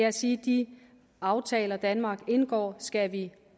at sige at de aftaler danmark indgår skal vi